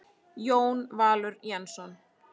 Jón Valur Jensson